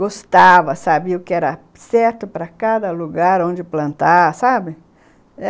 Gostava, sabia o que era certo para cada lugar, onde plantar, sabe?